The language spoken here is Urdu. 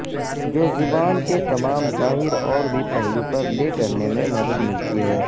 جو زبان کے تمام ظاہر اور بھی پہلو پر لے کرنے میں مدد ملتی ہے